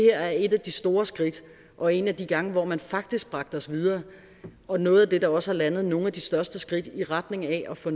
er et af de store skridt og en af de gange hvor man faktisk bragte os videre og noget af det der også har landet nogle af de største skridt i retning af at få